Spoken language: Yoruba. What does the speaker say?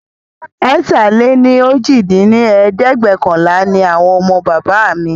ẹ̀ta-lé-ní-ojì dín ní ẹ̀ẹ́dẹ́gbẹ́ọ̀kànlá ní àwa ọmọ bàbá mí